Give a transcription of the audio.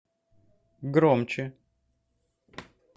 громче